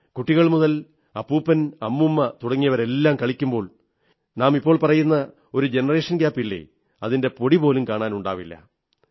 കുട്ടികൾ മുതൽ അപ്പൂപ്പൻ അമ്മൂമ്മ തുടങ്ങിയവരെല്ലാം കളിക്കുമ്പോൾ ഇപ്പോൾ പറയുന്ന ജനറേഷൻ ഗ്യാപില്ലേ അതിന്റെ പൊടിപോലും കാണാനുണ്ടാവില്ല